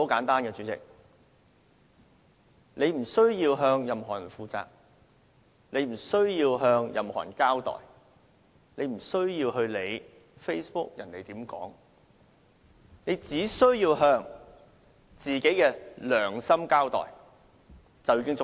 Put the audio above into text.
大家無須向任何人負責、無須向任何人交代、無須理會別人在 Facebook 上怎樣說，大家只須向自己的良心交代便已足夠。